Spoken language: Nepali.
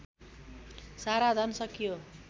सारा धन सकियो